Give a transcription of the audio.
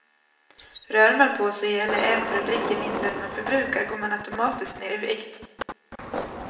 Rör man på sig eller äter och dricker mindre än man förbrukar går man automatiskt ner i vikt.